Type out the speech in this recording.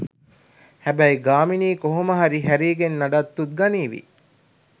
හැබැයි ගාමිණී කොහොම හරි හැරීගෙන් නඩත්තුත් ගනීවි